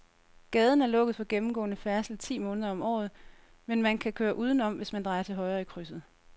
Gaden er lukket for gennemgående færdsel ti måneder om året, men man kan køre udenom, hvis man drejer til højre i krydset.